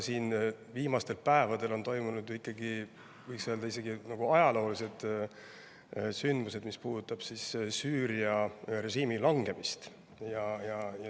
Viimastel päevadel on aga ikkagi toimunud, võiks isegi öelda, ajalooline sündmus – Süüria režiimi langemine.